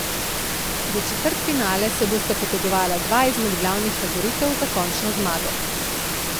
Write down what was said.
Za četrtfinale se bosta potegovala dva izmed glavnih favoritov za končno zmago.